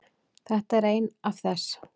Þetta er ein af þess